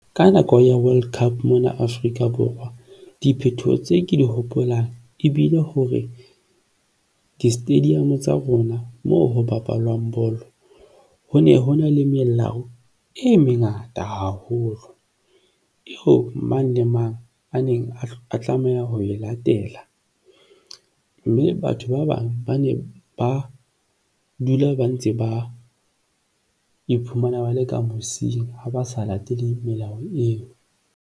Ka nako ya World Cup mona Afrika Borwa, diphethoho tse ke di hopolang ebile hore di stadium tsa rona moo ho bapalwang bolo. Ho ne hona le melao e mengata haholo ho mang le mang a neng a tlameha ho e latela mme batho ba bang ba ne ba dula ba ntse ba iphumana ba leka mosing ha ba sa lateleng melao eo.